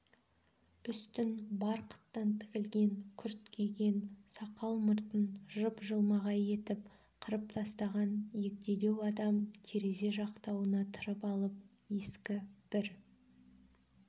үстін барқыттан тігілген күрт киген сақал-мұртын жып-жылмағай етіп қырып тастаған егделеу адам терезе жақтауына тырып алып ескі бір